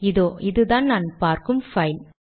இதோ இதுதான் நான் பார்க்கும் பைல்